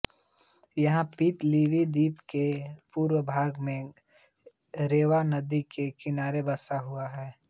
यह Viti Levu द्वीप के पूर्वी भाग में रेवा नदी के किनारे बसा हुआ है